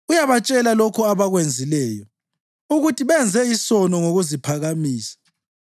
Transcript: uyabatshela lokho abakwenzileyo, ukuthi benze isono ngokuziphakamisa.